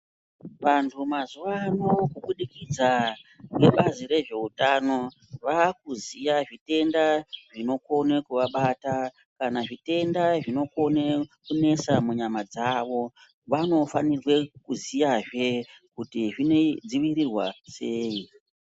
Vantu mazuva ano kubudikidza ngebazi rezveutano vakuziya zvitenda zvinokone kuvabata. Kana zvitenda zvinokone kunesa munyama dzavo, vanofanirwe kuziyazve kuti zvinodzivirirwa sei.